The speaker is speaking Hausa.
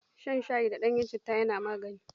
Shan shayi da ɗanyen citta na magani.